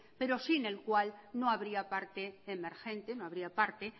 pero sin el cual no habría parte emergente no habría parte